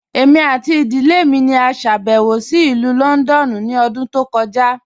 Ẹ̀mi àti ìdílẹ̀ mi ni à ṣàbẹ̀wò sí Ilù Lọ́ndọ̀nù ni ọ̀dún tó kọja.